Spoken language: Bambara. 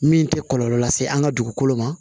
Min tɛ kɔlɔlɔ lase an ka dugukolo ma